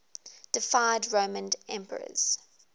deified roman emperors